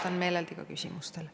Vastan meeleldi ka küsimustele.